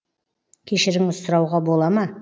кешіріңіз сұрауға бола ма